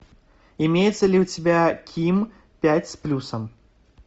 имеется ли у тебя ким пять с плюсом